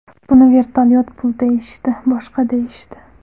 Buni vertolyot pul deyishdi, boshqa deyishdi.